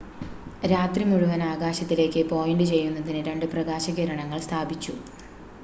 രാത്രി മുഴുവൻ ആകാശത്തിലേക്ക് പോയിൻ്റ് ചെയ്യുന്നതിന് രണ്ട് പ്രകാശകിരണങ്ങൾ സ്ഥാപിച്ചു